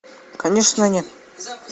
конечно нет